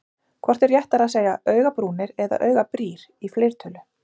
Hvort er réttara að segja augabrúnir eða augabrýr í fleirtölu?